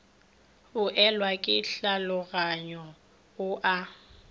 boelwa ke tlhaoganyo o a